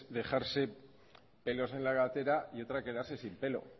dejarse pelos en la gatera y otra quedarse sin pelo